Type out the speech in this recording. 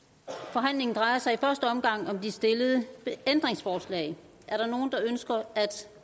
forhandlingen drejer sig i første omgang om de stillede ændringsforslag er der nogen der ønsker at